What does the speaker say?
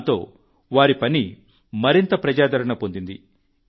దాంతో వారి పని మరింత ప్రజాదరణ పొందింది